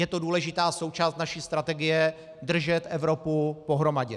Je to důležitá součást naší strategie držet Evropu pohromadě.